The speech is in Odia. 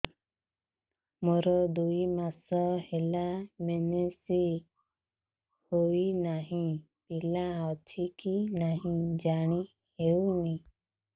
ମୋର ଦୁଇ ମାସ ହେଲା ମେନ୍ସେସ ହୋଇ ନାହିଁ ପିଲା ଅଛି କି ନାହିଁ ଜାଣି ହେଉନି